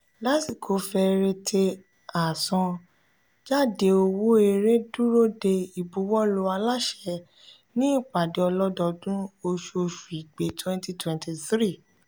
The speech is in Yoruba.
lásìkò fẹrẹte àṣan-jade owó èrè dúró de ibuwọlu aláṣẹ ní ìpàdé ọlọdọọdún oṣù oṣù igbe twenty twenty three.